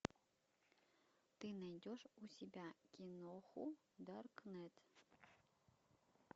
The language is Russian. ты найдешь у себя киноху даркнет